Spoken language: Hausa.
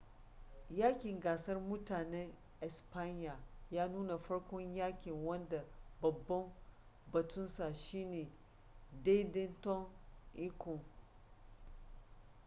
yaƙin gasar mutanen espanya ya nuna farkon yaƙin wanda babban batunsa shine daidaiton iko